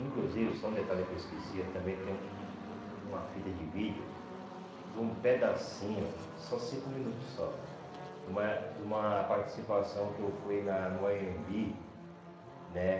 Inclusive, só um detalhe que eu esqueci, também tem um um um uma fita de vídeo de um pedacinho, só cinco minutos só, de uma de uma participação que eu fui na no Anhembi, né?